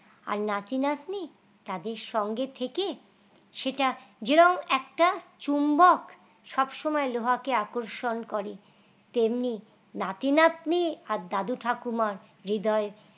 আর নাতি নাতনি তাদের সঙ্গে থেকে সেটা যেরকম একটা চুম্বক সব সময় লোহা কে আকর্ষণ করে তেমনি নাতি-নাতনি আর দাদু ঠাকুমার হৃদয়